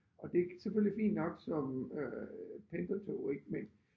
Og det selvfølgelig fint nok som øh pendlertog ik men